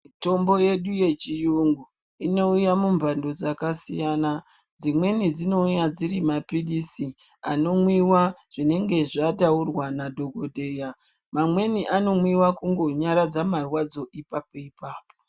Mitombo yedu ye chiyungu ino uya mu mbando dzaka siyana dzimweni dzino uya dziri mapilisi ano mwiwa zvinenge zvataura na dhokodheya mamweni ano mwiwa kungo nyaradza marwadzo ipapo ipapo.